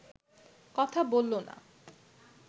কথা বলল না